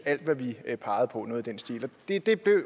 alt hvad vi peger på noget i den stil det